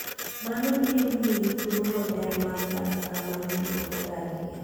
Mano biro miyi thuolo maber mar dak kama ji ok odakie.